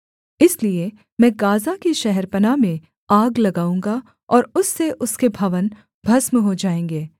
इसलिए मैं गाज़ा की शहरपनाह में आग लगाऊँगा और उससे उसके भवन भस्म हो जाएँगे